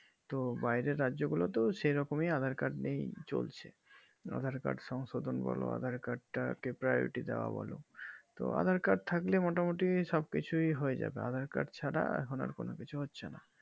তো বাইরের রাজ্য গুলা তো সেই রকম aadhar card নিয়ে চলছে aadhar card সংশোধন বলো aadhar card তা দাওয়া বোলো তো aadhaar card থাকলে মোটামোটি সবকিছুই হয়ে যাবে aadhaar card ছাড়া এখন আর কোনো কিছু হচ্ছে না